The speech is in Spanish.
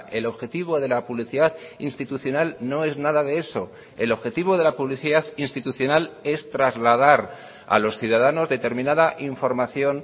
el objetivo de la publicidad institucional no es nada de eso el objetivo de la publicidad institucional es trasladar a los ciudadanos determinada información